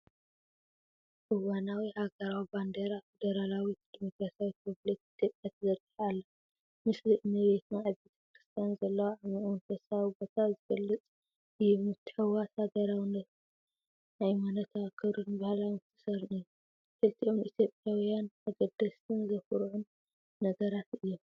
እዋናዊ ሃገራዊ ባንዴራ ፌደራላዊት ደሞክራስያዊት ሪፓብሊክ ኢትዮጵያ ተዘርጊሓ ኣላ። ምስሊ እመቤትና ኣብ ቤተ ክርስቲያን ዘለዋ ዓሚቝ መንፈሳዊ ቦታ ዝገልጽ እዩ። ምትሕውዋስ ሃገራውነትን ሃይማኖታዊ ክብርን ባህላዊ ምትእስሳርን እዩ። ክልቲኦም ንኢትዮጵያውያን ኣገደስትን ዘኹርዑን ነገራት እዮም።